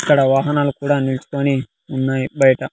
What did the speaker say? ఇక్కడ వాహనాలు కూడా నిలుచుకొని ఉన్నాయి బయట.